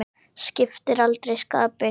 Skiptir aldrei skapi.